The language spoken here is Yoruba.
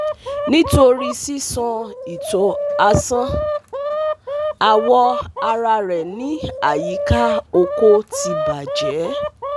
Nitori sisan ito asan, awọ ara rẹ ni ayika oko ti bajẹ